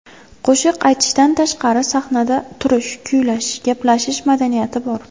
Qo‘shiq aytishdan tashqari, sahnada turish, kuylash, gaplashish madaniyati bor.